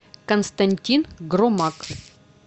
константин громак